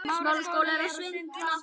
Blessuð sé minning Ólafíu.